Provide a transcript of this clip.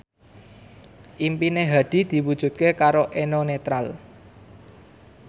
impine Hadi diwujudke karo Eno Netral